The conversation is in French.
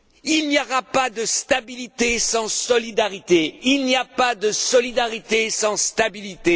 Il n'y aura pas de stabilité sans solidarité, il n'y a pas de solidarité sans stabilité!